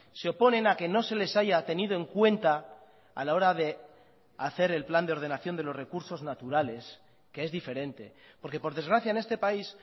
se oponen a que no se les haya tenido en cuenta a la hora de hacer el plan de ordenación de los recursos naturales que es diferente porque por desgracia en este país